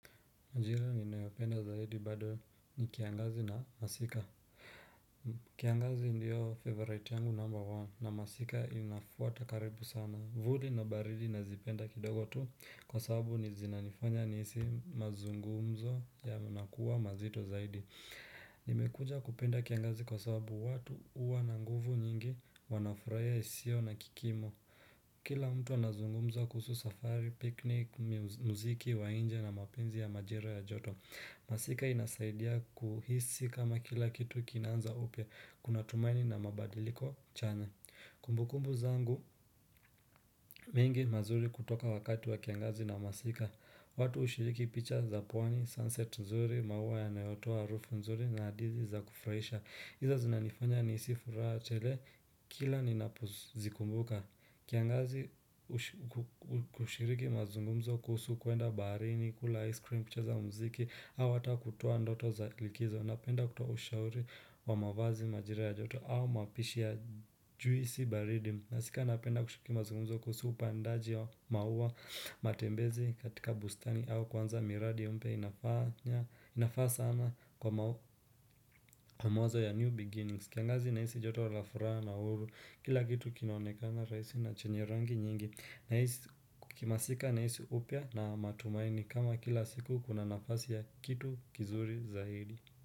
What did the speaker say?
Jira ninayopenda zaidi bado ni kiangazi na masika. Kiangazi ndio favorite yangu number one na masika inafuata karibu sana. Vuli na baridi nazipenda kidogo tu kwa sababu ni zinanifanya nihisi mazungumzo ya nakuwa mazito zaidi nimekuja kupenda kiangazi kwa sababu watu huwa na nguvu nyingi wanafurahiya isiyo na kikimo Kila mtu anazungumza kuhusu safari, piknik, muziki, wa nje na mapenzi ya majira ya joto masika inasaidia kuhisi kama kila kitu kinaanza upya. Kuna tumaini na mabadiliko chanya Kumbukumbu zangu mengi mazuri kutoka wakati wa kiangazi na masika watu hushiriki picha za pwani, sunset nzuri, maua yanayotoa harufu nzuri na adizi za kufurahisha. Hizo zinanifanya nihisi furaha chele, kila ni napozikumbuka kiangazi kushiriki mazungumzo kuhusu kuenda baharini, kula ice cream, kucheza mziki au hata kutwaa ndoto za likizo. Napenda kutoa ushauri wa mavazi majira ya joto au mapishi ya juisi baridi Nasika napenda kushiriki mazungumzo kuhusu upandaji ya maua matembezi katika bustani au kuanza miradi mpya inafaa sana kwa mawazo ya new beginnings. Kiangazi inahisi joto la furaha na uhuru. Kila kitu kinaonekana rahisi na chenye rangi nyingi Kimasika nahisi upya na matumaini. Kama kila siku kuna nafasi ya kitu kizuri zaidi.